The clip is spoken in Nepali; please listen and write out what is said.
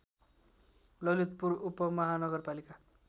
ललितपुर उपमाहानगरपालिका